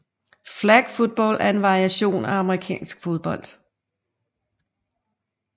Flag football er en variation af amerikansk fodbold